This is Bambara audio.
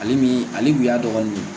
Ale ni ale kun y'a dɔgɔnin de ye